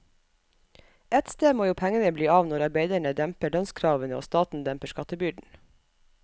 Ett sted må jo pengene bli av når arbeiderne demper lønnskravene og staten demper skattebyrden.